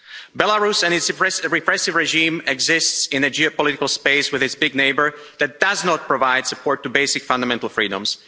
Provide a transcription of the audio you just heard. Belarus and its repressive regime exists in a geopolitical space with its big neighbour that does not provide support to basic fundamental freedoms.